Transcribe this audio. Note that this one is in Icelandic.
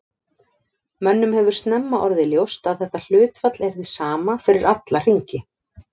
Mönnum hefur snemma orðið ljóst að þetta hlutfall er hið sama fyrir alla hringi.